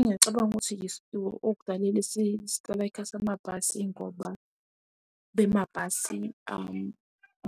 Ngiyacabanga ukuthi okudala isiteleka samabhasi yingoba amabhasi